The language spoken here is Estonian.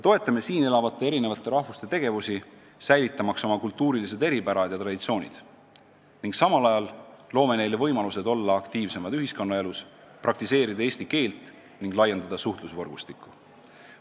Toetame siin elavate eri rahvaste esindajate tegevusi, säilitamaks oma kultuurilised eripärad ja traditsioonid, ning samal ajal loome neile võimalused olla aktiivsemad ühiskonnaelus, praktiseerida eesti keelt ning laiendada suhtlusvõrgustikku.